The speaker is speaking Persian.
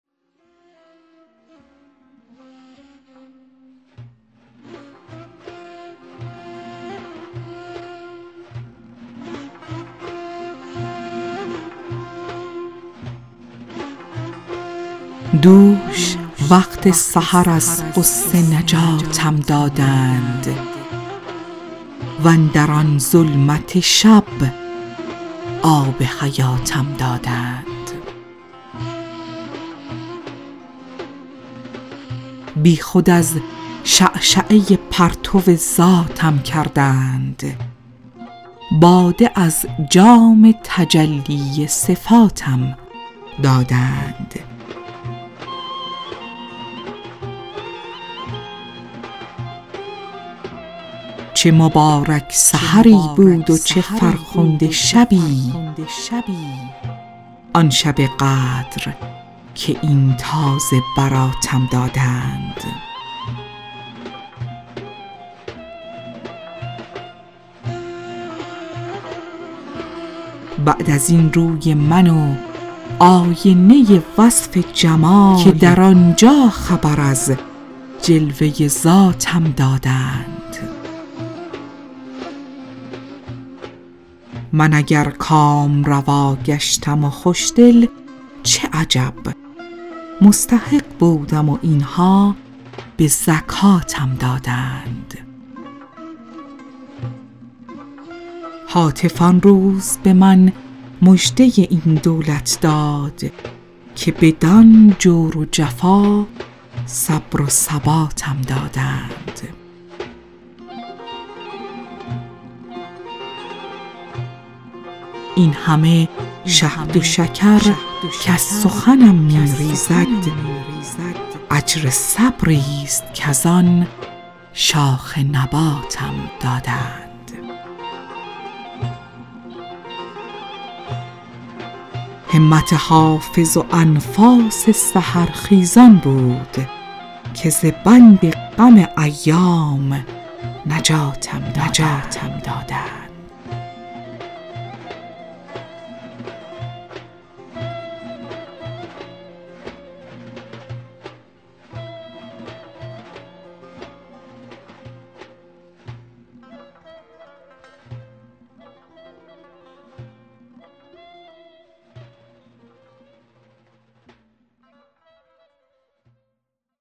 دوش وقت سحر از غصه نجاتم دادند واندر آن ظلمت شب آب حیاتم دادند بی خود از شعشعه پرتو ذاتم کردند باده از جام تجلی صفاتم دادند چه مبارک سحری بود و چه فرخنده شبی آن شب قدر که این تازه براتم دادند بعد از این روی من و آینه وصف جمال که در آن جا خبر از جلوه ذاتم دادند من اگر کامروا گشتم و خوش دل چه عجب مستحق بودم و این ها به زکاتم دادند هاتف آن روز به من مژده این دولت داد که بدان جور و جفا صبر و ثباتم دادند این همه شهد و شکر کز سخنم می ریزد اجر صبری ست کز آن شاخ نباتم دادند همت حافظ و انفاس سحرخیزان بود که ز بند غم ایام نجاتم دادند